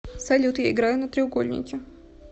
салют я играю на треугольнике